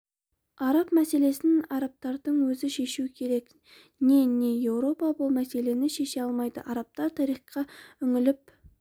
араб мәселесін арабтардың өзі шешу керек не не еуропа бұл мәселені шеше алмайды арабтар тарихқа үңіліп